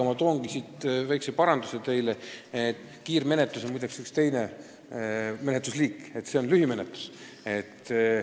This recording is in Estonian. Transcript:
Ma teen siinkohal väikese paranduse: kiirmenetlus on muide üks teine menetlusliik, praegu käib jutt lühimenetlusest.